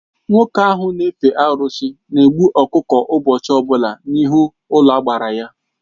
Nwoke ahụ n'efe arụsị na egbu ọkụkọ ụbọchị ọbụla n'ihu ụlọagbara ya.